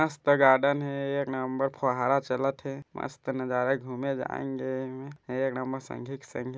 मस्त गार्डन हे एक नम्बर फुहारा चलत हे मस्त नजारा घूमे एक नम्बर संगी के संगी --